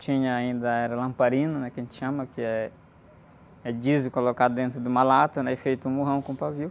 Tinha ainda, era lamparina, que a gente chama, que é, é diesel colocado dentro de uma lata, né? E feito um morrão com pavio.